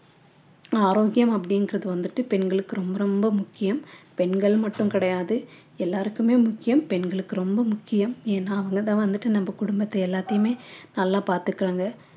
ஆரோக்கியம் அப்படிங்கறது வந்துட்டு பெண்களுக்கு ரொம்ப ரொம்ப முக்கியம் பெண்கள் மட்டும் கிடையாது எல்லாருக்குமே முக்கியம் பெண்களுக்கு ரொம்ப முக்கியம் ஏன்னா அவங்க தான் வந்துட்டு நம்ம குடும்பத்தை எல்லாத்தையுமே நல்லா பார்த்துக்கறாங்க